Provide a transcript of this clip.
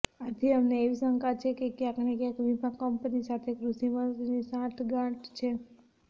આથી અમને એવી શંકા છે કે ક્યાંકને ક્યાંક વીમા કંપની સાથે કૃષિમંત્રીની સાંઠગાંઠ છે